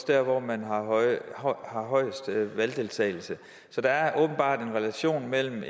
dér hvor man har højest valgdeltagelse så der er åbenbart en relation mellem